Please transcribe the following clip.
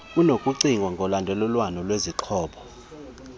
kunokucinga ngolandelelwano lwezixhobo